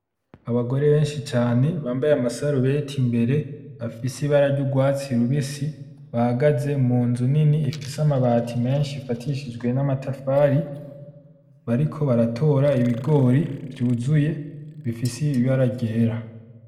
Abagore benshi cane bambaye amasarubeti imbere afise ibara ry'urwatsi rubisi, bahagaze mu nzu nini ifise amabati menshi abafitishijwe namatafari, bariko baratora ibigori vy'uzuye bifise ibara ryera.